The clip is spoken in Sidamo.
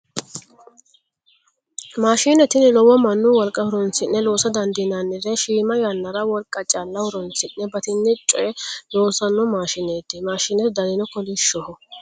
Maashine tini lowo mannu wolqa horoonsi'ne loosa dandiinannire shima yannanna wolqa calla horoonsidhe batinye coye loossanno maashineeti. Mashinete danino kolishshoho.